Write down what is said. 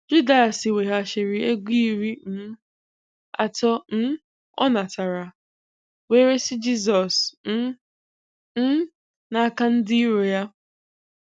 Judas weghachiri ego iri um atọ um ọ natara, wee resị Jisọs um um n’aka ndị iro ya.